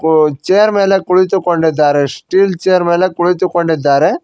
ವು ಚೇರ್ ಮೇಲೆ ಕುಳಿತುಕೊಂಡಿದ್ದಾರೆ ಸ್ಟೀಲ್ ಚೇರ್ ಮೇಲೆ ಕುಳಿತುಕೊಂಡಿದ್ದಾರೆ.